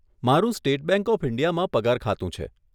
મારું State Bank of ઇન્ડિયામાં પગાર ખાતું છે.